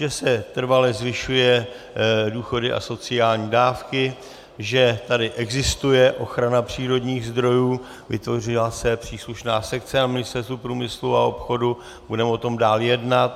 Že se trvale zvyšují důchody a sociální dávky, že tady existuje ochrana přírodních zdrojů, vytvořila se příslušná sekce na Ministerstvu průmyslu a obchodu, budeme o tom dále jednat.